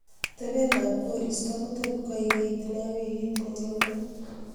atebet ab koristo kototkoigeit nee wigit nenyone